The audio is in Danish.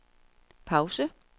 pause